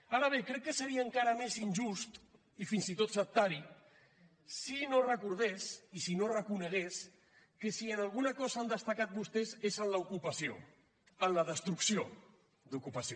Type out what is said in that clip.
ara bé crec que seria encara més injust i fins i tot sectari si no recordés i si no reconegués que si en alguna cosa han destacat vostès és en l’ocupació en la destrucció d’ocupació